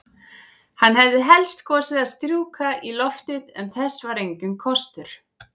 Hann hefði helst kosið að strjúka í loftið, en þess var enginn kostur.